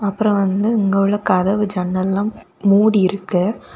அப்பரோ வந்து இங்க உள்ள கதவு ஜன்னல்லா மூடியிருக்கு.